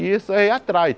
E isso aí atrai.